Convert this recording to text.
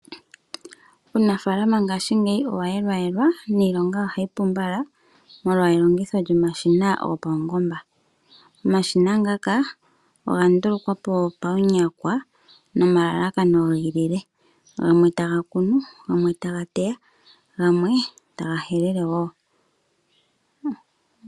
Uunafaalama ngaaashi ngeyi owa yelwa yelwa, niilonga oha yi pu mbala molwa elongitho lyomashina go paungomba. Omashina ngoka oga ndulukwapo paunyakwa no malalakano giilile, gamwe ta ga kunu, gamwe ta ga teya, go gamwe ta ga helele woo.